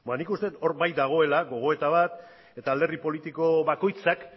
nik uste dut hor bai dagoela gogoeta bat eta alderdi politiko bakoitzak